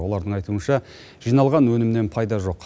олардың айтуынша жиналған өнімнен пайда жоқ